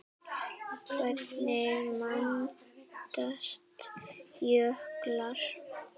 Hvernig myndast jöklar?